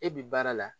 E bi baara la